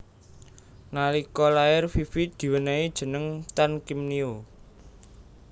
Nalika lair Fifi diwenéhi jeneng Tan Kiem Nio